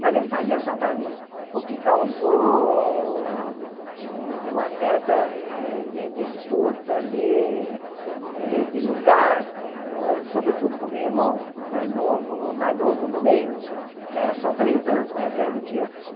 Mas ele fazia só para mim, o que causou um uma certa disputa ali eh de lugar, sobretudo com o meu irmão mais novo, mais novo, o do meio, que era só três anos mais velho do que eu.